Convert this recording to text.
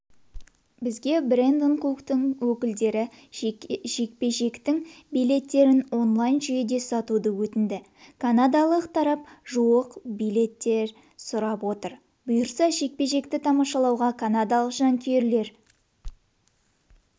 бізге брэндон куктың өкілдері жекпе-жектің билеттерін онлайн жүйеде сатуды өтінді канадалық тарап жуық билет сұрап отыр бұйырса жекпе-жекті тамашалауға канадалық жанкүйерлер